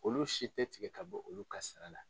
Olu si tɛ tigɛ ka bɔ olu ka sara la.